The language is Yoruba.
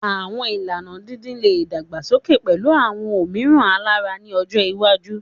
Awọn ilana didin le dagbasoke pẹlu awọn omiiran alara ni ọjọ iwaju